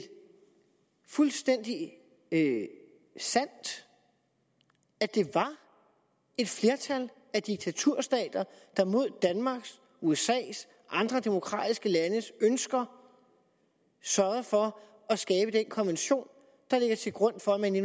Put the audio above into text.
fuldstændig sandt at det var et flertal af diktaturstater der mod danmarks usas og andre demokratiske landes ønsker sørgede for at skabe den konvention der ligger til grund for at man i